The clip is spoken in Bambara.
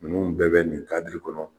Ninnu bɛɛ bɛ nin kɔnɔ